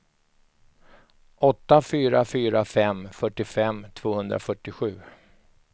åtta fyra fyra fem fyrtiofem tvåhundrafyrtiosju